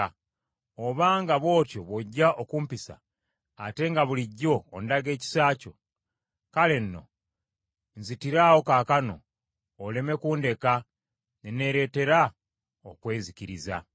Obanga bw’otyo bw’ojja okumpisa, ate nga bulijjo ondaga ekisa kyo, kale nno nzitiraawo kaakano oleme kundeka ne neereetera okwezikiriza.”